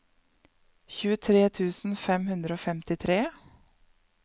tjuetre tusen fem hundre og femtitre